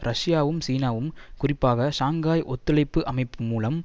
ரஷ்யாவும் சீனாவும் குறிப்பாக ஷங்காய் ஒத்துழைப்பு அமைப்பு மூலம்